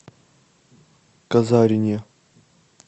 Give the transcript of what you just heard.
казарине